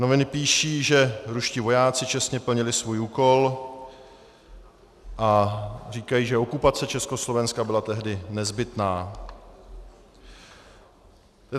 Noviny píší, že ruští vojáci čestně plnili svůj úkol, a říkají, že okupace Československa byla tehdy nezbytná.